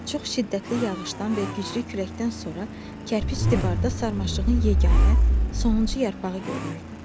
Çox şiddətli yağışdan və güclü küləkdən sonra kərpic divarda sarmaşığın yeganə sonuncu yarpağı görünürdü.